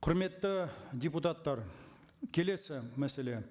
құрметті депутаттар келесі мәселе